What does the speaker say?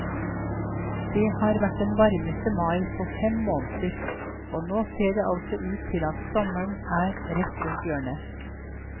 Det har vært den varmeste mai på fem år, og nå ser det altså ut til at sommeren er rett rundt hjørnet.